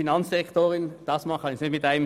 Dieses Mal reichen zwei Sätze nicht aus.